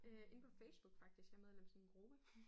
Øh inde på Facebook faktisk jeg medlem af sådan en gruppe